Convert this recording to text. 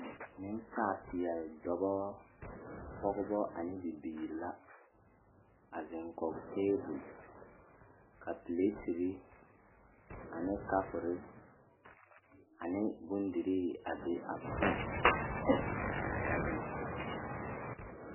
Nensaalpeɛle dɔba pɔgeba ane bibiiri la a zeŋ kɔge tabol ka piletiri ane kapuri ane bondirii a be a poɔ ka ba zeŋ kɔge.